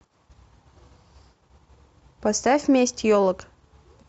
поставь месть елок